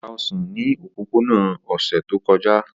O ta osan ni opopona ni ọsẹ to kọja.